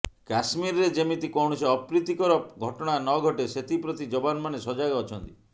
କଶ୍ମୀରରେ ଯେମିତି କୌଣସି ଅପ୍ରୀତିକର ଘଟଣା ନଘଟେ ସେଥିପ୍ରତି ଯବାନମାନେ ସଜାଗ ଅଛନ୍ତି